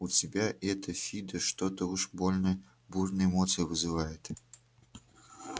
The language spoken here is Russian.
у тебя это фидо что-то уж больно бурные эмоции вызывает